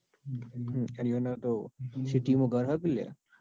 હમ city માં યાર